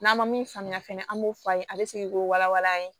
N'an ma min faamuya fɛnɛ an b'o f'a ye a bɛ segin k'o wala wala an ye